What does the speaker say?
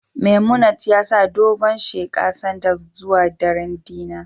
Memunant ya sa dogon sheqa Sander zuwa daren dinner